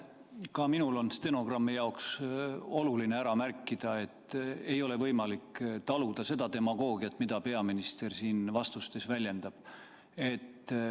Ka minul on stenogrammi jaoks oluline ära märkida, et ei ole võimalik taluda seda demagoogiat, mida peaminister siin vastustes väljendab.